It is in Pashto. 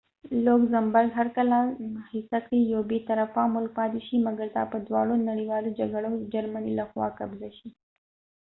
لوګزمبرګ هر کله هڅه کړی یو بی طرفه ملک پاتی شی مګر دا په دواړو نړیوالو جګړو کی د جرمنی له خوا قبضه شو